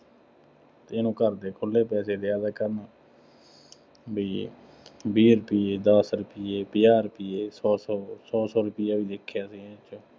ਇਹਨੂੰ ਘਰ ਦੇ ਖੁੱਲ੍ਹੇ ਪੈਸੇ ਦੇ ਦਿਆ ਕਰਨ, ਬਈ ਇਹ, ਵੀਹ ਰੁਪਈਏ, ਦਸ ਰੁਪਈਏ, ਪੰਜਾਹ ਰੁਪਈਏ, ਸੌ ਸੌ, ਸੌ-ਸੌ ਰੁਪਇਆ ਵੀ ਦੇਖਿਆਂ ਅਸੀਂ ਇਹਨੂੰ ਦਿੰਦੇ।